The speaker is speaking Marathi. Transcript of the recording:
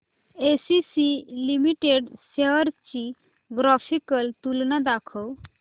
एसीसी लिमिटेड शेअर्स ची ग्राफिकल तुलना दाखव